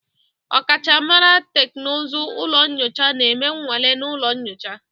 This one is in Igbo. Ọkachamara teknụzụ ụlọ nyocha na-eme nnwale na ụlọ nyocha